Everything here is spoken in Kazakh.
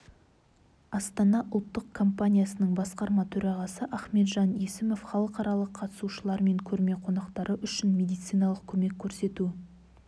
астана ұлттық компаниясының басқарма төрағасы ахметжан есімов халықаралық қатысушылар мен көрме қонақтары үшін медицианалық көмек көрсету